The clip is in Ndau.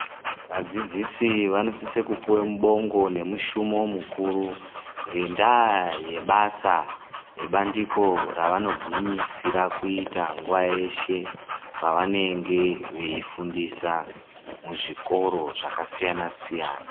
Vadzidzisi vanosise kupuwe mubongo nemushumo mukuru ngendaa yebasa nebandiko revanogwinyisire kuita nguwa yeshe pevanenge veifundisa muzvikora zvakasiyana-siyana.